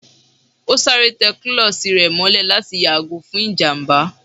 O sárè te kulosí rẹ mòlè latí yagò fún ijamba